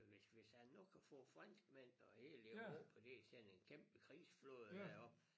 Hvis hvis han nu kan få franskmændene og hele Europa til at til at sende en kæmpe krigsflåde derop